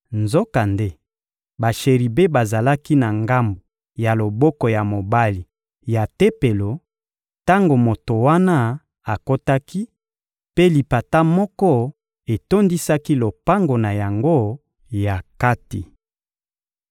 Nzokande, basheribe bazalaki na ngambo ya loboko ya mobali ya Tempelo tango moto wana akotaki, mpe lipata moko etondisaki lopango na yango ya kati.